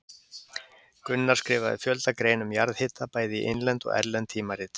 Gunnar skrifaði fjölda greina um jarðhita bæði í innlend og erlend tímarit.